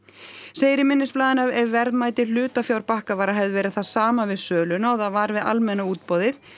segir í minnisblaðinu að ef verðmæti hlutafjár Bakkavarar hefði verið það sama við söluna og það var við almenna útboðið